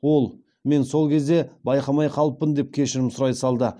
ол мен сол кезде байқамай қалыппын деп кешірім сұрай салды